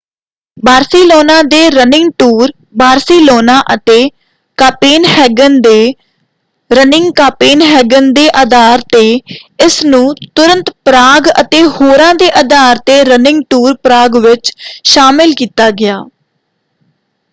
Barcelona ਦੇ running tour Barcelona ਅਤੇ Copenhagen ਦੇ ਰਨਿੰਗ ਕਾਪੇਨਹੈਗਨ ਦੇ ਆਧਾਰ 'ਤੇ ਇਸ ਨੂੰ ਤੁਰੰਤ ਪਰਾਗ ਅਤੇ ਹੋਰਾਂ ਦੇ ਆਧਾਰ 'ਤੇ ਰਨਿੰਗ ਟੂਰ ਪਰਾਗ ਵਿੱਚ ਸ਼ਾਮਲ ਕੀਤਾ ਗਿਆ।